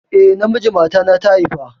Eh, namiji matana ta haifa